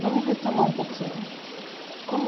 Vamos retomar um pouquinho. Como